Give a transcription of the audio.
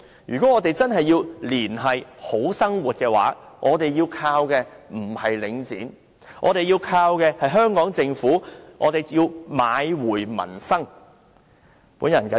如果我們真的要"連繫好生活"，我們倚靠的不是領展，而是要依靠香港政府買回民生。